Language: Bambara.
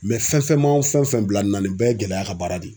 fɛn fɛn man fɛn fɛn bila nin na nin bɛɛ ye gɛlɛya ka baara de ye.